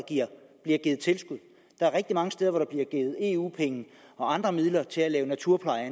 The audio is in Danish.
bliver givet tilskud der er rigtig mange steder hvor der blev givet eu penge og andre midler til at lave naturpleje